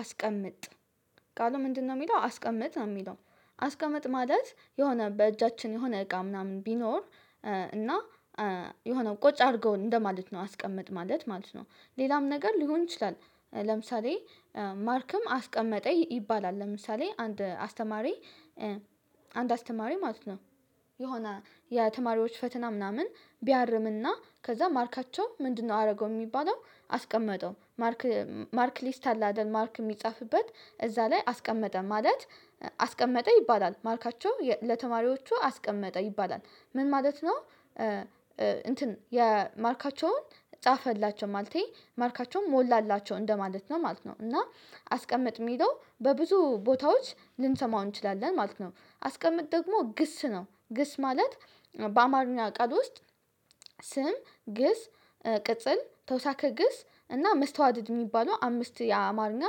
አስቀምጥ ቃሉ ምንድነው? የሚለው አስቀምጥ ነው የሚለው። አስቀምጥ ማለት የሆነ በእጃችን የሆነ እቃ ምናምን ቢኖር። እና የሆነ ቁጭ አድርገው እንደማለት ነው። አስቀመጥ ማለት ነው ሌላም ነገር ሊሆን ይችላል። ለምሳሌ ማርክም አስቀመጠ ይባላል ለምሳሌ አንድ አስተማሪ። አንድ አስተማሪ ማለት ነው። የሆነ የተማሪዎች ፈተና ምናምን ቢያርምና ከዛ ማርካቸው ምንድነው አደረገው የሚባለው? አስቀመጠው ማርክ ማርክ ሊስት አለ አይደል ማርክ የሚጻፍበት እዛ ላይ አስቀመጠ ማለት። አስቀመጠ ይባላል ማርካቸው ለተማሪዎቹ አስቀመጠ ይባላል። ምን ማለት ነው? እንትን የማርካቸውን ፃፈላቸው ማለቴ ማርካቸውን ሞላላቸው እንደማለት ነው ማለት ነው። እና አስቀምጥ የሚለው በብዙ ቦታዎች ልንሰማው እንችላለን ማለት ነው። አስቀምጥ ደግሞ ግስ ነው ግስ ማለት። በአማርኛ ቃል ውስጥ ስም ግስ ቅጽል ተውሳከ ግስ እና መስተዋድድ የሚባለው አምስት የአማርኛ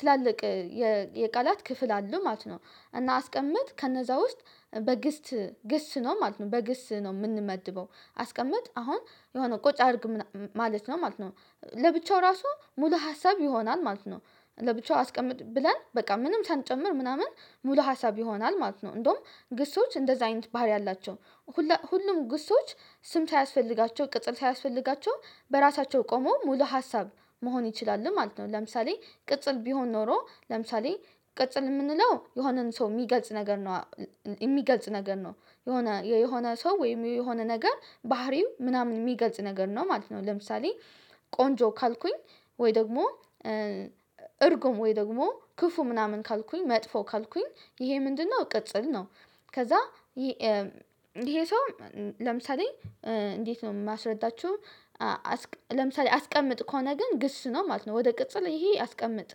ትላልቅ የቃላት ክፍል አለው ማለት ነው። እና አስቀምጥ ከነዛ ውስጥ በግስት ግስ ነው ማለት ነው በግስ ነው የምንመድበው አስቀመጥ አሁን የሆነ ቁጭ አድርግ ማለት ነው ማለት ነው። ለብቻው ራሱ ሙሉ ሀሳብ ይሆናል ማለት ነው። ለብቻው አስቀምጥ ብለን በቃ ምንም ሳንጨምር ምናምን ሙሉ ሀሳብ ይሆናል ማለት ነው። እንደውም ግሶች እንደዛ አይነት ባህሪ አላቸው። ሁሉም ግሶች ስም ሳያስፈልጋቸው ቅጥር ሳያስፈልጋቸው በራሳቸው ቆሞ ሙሉ ሀሳብ መሆን ይችላሉ ማለት ነው። ለምሳሌ ቅጽል ቢሆን ኖሮ ለምሳሌ ቅጽል የምንለው የሆነን ሰው የሚገልጽ ነገር ነው። የሚገልጽ ነገር ነው የሆነ የሆነ ሰው ወይም የሆነ ነገር ባህሪው ምናምን የሚገልጽ ነገር ነው ማለት ነው። ለምሳሌ ቆንጆ ካልኩኝ ወይ ደግሞ እርጉም ወይ ደግሞ ክፉ ምናምን ካልኩኝ መጥፎ ካልኩኝ ይሄ ምንድነው ቅጽል ነው። ከዛ ይሄ ሰው ለምሳሌ እንዴት ነው የማስረዳችሁ? ለምሳሌ አስቀምጥ ከሆነ ግን ግስ ነው ማለት ነው። ወደ ቅጽል ይሄ አስቀምጥ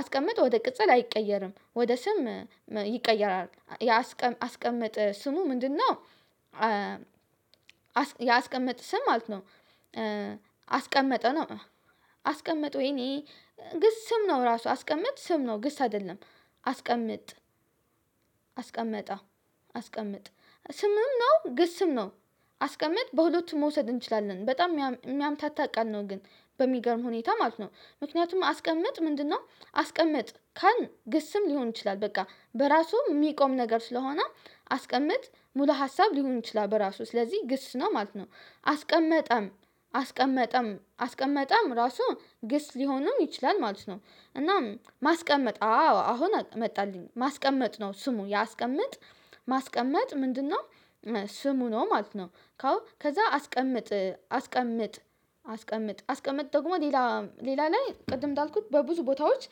አስቀምጥ ወደ ቅጽል አይቀየርም ወደ ስም ይቀየራል ያስቀመጠ ስሙ ምንድነው? ያስቀመጠ ስም ማለት ነው። አስቀመጠ ነው አስቀመጠው ወይኔ ግስ ስም ነው ራሱ አስቀመጥ ስም ነው ግስ አይደለም። አስቀምጥ አስቀመጠ አስቀምጥ ስምም ነው ግስም ነው። አስቀምጥ በሁለቱም መውሰድ እንችላለን በጣም የሚያምታታ ቃል ነው ግን በሚገርም ሁኔታ ማለት ነው። ምክንያቱም አስቀምጥ ምንድነው? አስቀምጥ ካልን ግስም ሊሆን ይችላል በቃ በራሱ የሚቆም ነገር ስለሆነ አስቀምጥ ሙሉ ሀሳብ ሊሆን ይችላል በራሱ ስለዚህ ግስ ነው ማለት ነው። አስቀመጠም አስቀመጠም አስቀመጠም ራሱ ግስ ሊሆንም ይችላል ማለት ነው። እናም ማስቀመጥ አዎ አሁን መጣልኝ ማስቀመጥ ነው ስሙ የአስቀምጥ ማስቀመጥ ምንድነው? ስሙ ነው ማለት ነው። ካው ከዛ አስቀምጥ አስቀምጥ አስቀምጥ አስቀምጥ ደግሞ ሌላ ሌላ ላይ ቅድም እንዳልኩት በብዙ ቦታዎች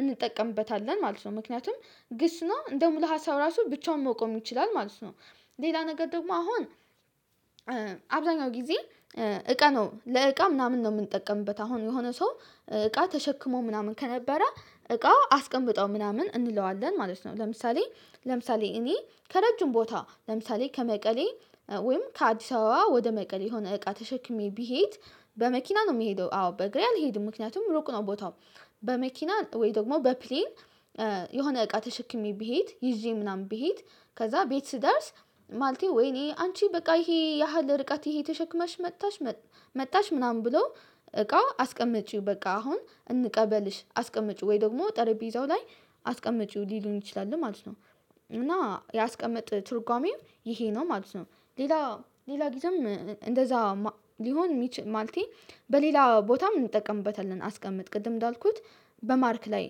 እንጠቀምበታለን ማለት ነው። ምክንያቱም ግስ ነው እንደ ሙሉ ሀሳብ ራሱ ብቻውን መቆም ይችላል ማለት ነው። ሌላ ነገር ደግሞ አሁን አብዛኛው ጊዜ እቃ ነው ለእቃ ምናምን ነው የምንጠቀምበት አሁን የሆነ ሰው እቃ ተሸክሞ ምናምን ከነበረ እቃውን አስቀምጠው ምናምን እንለዋለን ማለት ነው። ለምሳሌ ለምሳሌ እኔ ከረጅም ቦታ ለምሳሌ ከመቀሌ ወይም ከአዲስ አበባ ወደ መቀሌ የሆነ እቃ ተሸክሜ ብሄድ። በመኪና ነው የሚሄደው አዎ በእግሬ አልሄድም ምክንያቱም ሩቅ ነው ቦታው። በመኪና ወይ ደግሞ በፕሌን የሆነ እቃ ተሸክሜ ብሄድ ይዤ ምናምን ብሄድ። ከዛ ቤት ስደርስ ማለት ወይኔ አንቺ በቃ ይሄ ያህል ርቀት ይሄ ተሸክመሽ መጣሽ። መጣሽ ምናምን ብሎ እቃው አስቀመጪው በቃ አሁን እንቀበልሽ አስቀመጪው ወይ ደግሞ ጠረጴዛው ላይ አስቀምጪው ሊሉን ይችላሉ ማለት ነው። እና ያስቀመጥ ትርጓሜው ይሄ ነው ማለት ነው። ሌላ ሌላ ጊዜም እንደዛ ሊሆን ማለቴ በሌላ ቦታም እንጠቀምበታለን። አስቀምጥ ቅድም እንዳልኩት በማርክ ላይ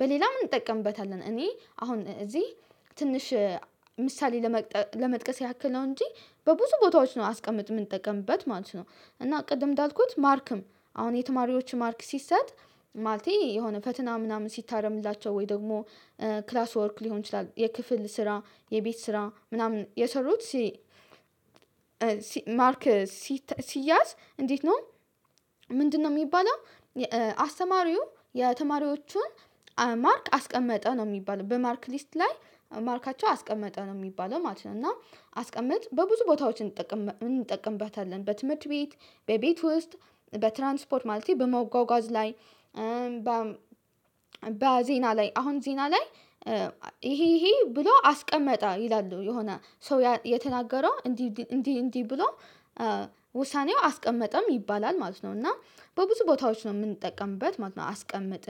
በሌላም እንጠቀምበታለን እኔ አሁን እዚህ ትንሽ ምሳሌ ለመጥቀስ ያክል ነው እንጂ በብዙ ቦታዎች ነው አስቀምጥ የምንጠቀምበት ማለት ነው። እና ቅድም እንዳልኩት ማርክም አሁን የተማሪዎች ማርክ ሲሰጥ ማለቴ የሆነ ፈትና ምናምን ሲታረምላቸው ወይ ደግሞ ክላስ ወርክ ሊሆን ይችላል የክፍል ስራ የቤት ስራ ምናምን የሰሩት ሲ። ማርክ ሲያዝ እንዴት ነው? ምንድነው የሚባለው? አስተማሪው የተማሪዎቹን ማርክ አስቀመጠ ነው የሚባለው በማርክ ሊስት ላይ ማርካቸው አስቀመጠ ነው የሚባለው ማለት ነው። እና አስቀምጥ በብዙ ቦታዎች እንጠቀምበታለን። በትምህርት ቤት በቤት ውስጥ በትራንስፖርት ማለት በመጋጋዝ ላይ። በ በዜና ላይ አሁን ዜና ላይ። ይሄ ይሄ ብሎ አስቀመጠ ይላሉ የሆነ ሰው የተናገረው እንዲህ እንዲህ እንዲህ ብሎ ውሳኔው አስቀመጠም ይባላል ማለት ነው። እና በብዙ ቦታዎች ነው የምንጠቀምበት ማለት ነው። አስቀምጥን